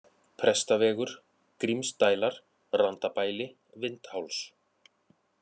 Prestavegur, Grímsdælar, Randabæli, Vindháls